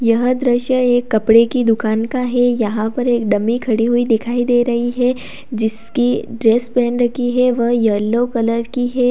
यह दृश्य एक कपड़े की दुकान का है यहाँ पर एक डम्मी ख़डी हुई दिखाई दे रही है जिसकी ड्रेस पहन रखी है वह येल्लो कलर की है।